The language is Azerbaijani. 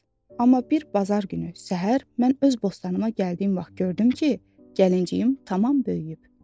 Amma bir bazar günü səhər mən öz bostanıma gəldiyim vaxt gördüm ki, gəlinciyim tamam böyüyüb.